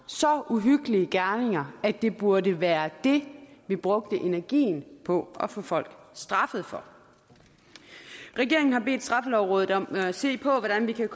så uhyggelige gerninger at det burde være det vi brugte energien på at få folk straffet for regeringen har bedt straffelovrådet om at se på hvordan vi kan